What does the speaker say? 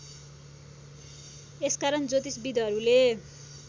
यसकारण ज्योतिषविधहरूले